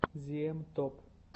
зиэм топ